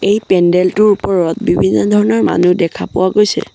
এই পেণ্ডেল টোৰ ওপৰত বিভিন্ন ধৰণৰ মানুহ দেখা পোৱা গৈছে।